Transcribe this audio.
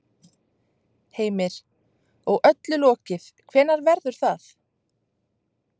Heimir: Og öllu lokið, hvenær verður það?